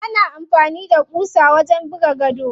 Ana amfani da ƙusa wajen buga gado.